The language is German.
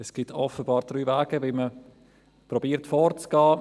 Es gibt offenbar drei Wege, wie man versucht, vorzugehen.